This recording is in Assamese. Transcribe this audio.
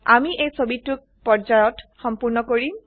আমি এই ছবিটোক পৰ্যায়ত সম্পূৰ্ণ কৰিম